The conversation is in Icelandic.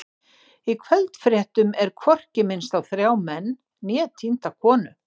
Í kvöldfréttum er hvorki minnst á þrjá menn né týnda konu.